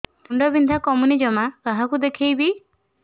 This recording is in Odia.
ମୁଣ୍ଡ ବିନ୍ଧା କମୁନି ଜମା କାହାକୁ ଦେଖେଇବି